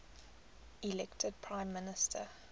elected prime minister